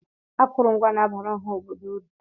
Akụrụngwa na-abara ọha obodo uru.